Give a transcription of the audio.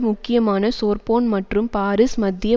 முக்கியமான சோர்போன் மற்றும் பாரிஸ் மத்திய